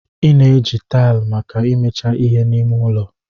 Ị na-eji taịlị maka imecha ihe n'ime ụlọ.